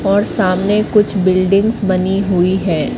और सामने कुछ बिल्डिंग्स बनी हुई है।